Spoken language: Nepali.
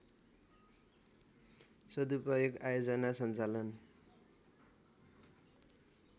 सदुपयोग आयोजना सञ्चालन